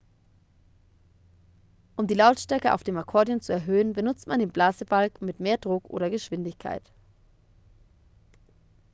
um die lautstärke auf dem akkordeon zu erhöhen benutzt man den blasebalg mit mehr druck oder geschwindigkeit